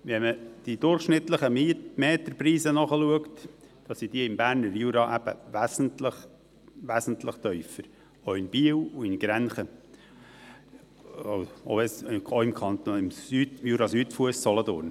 Wenn man die durchschnittlichen Quadratmeterpreise nachschaut, zeigt sich, dass diejenigen im Berner Jura wesentlich tiefer sind, auch in Biel und auch in Grenchens sowie auch im Bereich Jurasüdfuss und Solothurn.